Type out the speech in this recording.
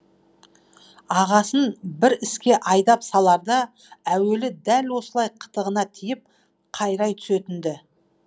ағасын бір іске айдап саларда әуелі дәл осылай қытығына тиіп қайрай түсетін ді